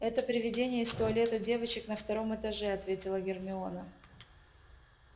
это привидение из туалета девочек на втором этаже ответила гермиона